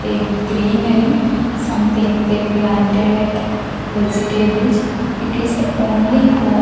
A greenery something they planted like vegetables it is the only home.